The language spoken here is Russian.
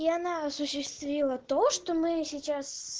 и она осуществила то что мы сейчас